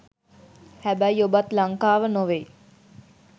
හැබැයි ඔබත් ලංකාව නොවෙයි